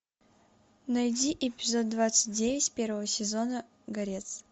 найди эпизод двадцать девять первого сезона горец